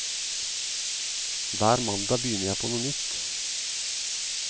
Hver mandag begynner jeg på nytt.